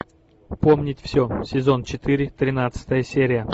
помнить все сезон четыре тринадцатая серия